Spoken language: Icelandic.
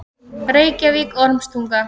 Reykjavík: Ormstunga.